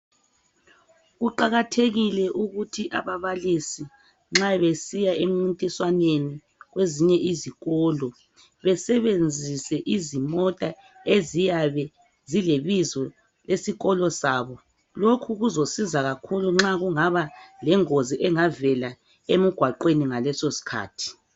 Kuqakathekile ukuthi ababalisi nxa besiya emncintiswaneni kwezinye izikolo besebenzise izimota eziyabe zilebizo lesikolo sabo. Lokhu kuzasisa kakhulu nxa kungaba lengozi engavela emgwaqweni ngalesosikhathi.